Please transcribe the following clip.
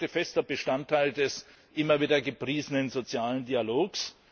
Sie sind heute fester Bestandteil des immer wieder gepriesenen sozialen Dialogs.